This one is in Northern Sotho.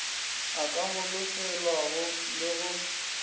a ka holofelwago le go